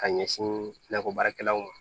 Ka ɲɛsin nakɔbaarakɛlaw ma